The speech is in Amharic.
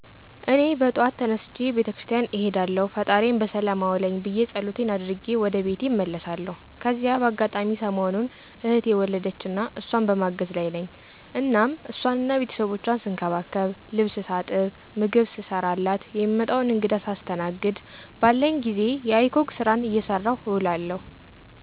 እኔ በጠዋት ተነስቼ ቤተ ክርስቲያን እሄዳለሁ ፈጣሪየን በሰላም አዉለኝ ብየ ፀሎቴን አድርጌ ወደ ቤቴ እመለሳለሁ። ከዚያ በአጋጣሚ ሰሞኑን እህቴ ወለደችና እሷን በማገዝ ላይ ነኝ እናም ሷንና ቤተሰቦቿን ስንከባከብ፣ ልብስ ሳጥብ፣ ምግብ ስሰራላት፣ የሚመጣዉን እንግዳ ሳስተናግድ፣ ባለኝ ጊዜ የiCog ስራየን ስሰራ እዉላለሁ።